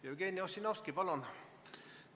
Jevgeni Ossinovski, palun!